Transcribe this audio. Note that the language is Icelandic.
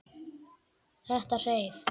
Þetta hreif.